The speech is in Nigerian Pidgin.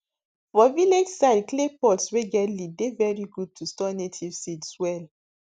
for village side clay pots wey get lid dey very good to store native seeds well